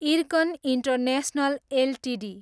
IRCON international Ltd